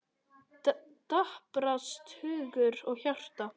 Daprast hugur og hjarta.